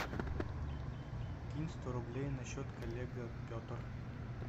кинь сто рублей на счет коллега петр